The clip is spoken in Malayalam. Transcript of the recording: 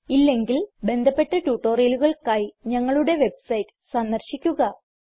ഇല്ലെങ്കിൽ ബന്ധപ്പെട്ട ട്യൂട്ടോറിയലുകൾക്കായി ഞങ്ങളുടെ വെബ്സൈറ്റ് സന്ദർശിക്കുക